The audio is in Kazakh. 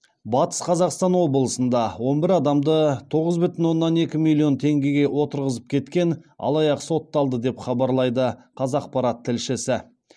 батыс қазақстан облысында он бір адамды тоғыз бүтін оннан екі миллион теңгеге отырғызып кеткен алаяқ сотталды деп хабарлайды қазақпарат тілшісі